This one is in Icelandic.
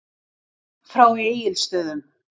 Frá Egilsstöðum.